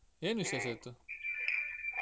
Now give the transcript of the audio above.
ಏನ್ ವಿಶೇಷ ಇತ್ತು .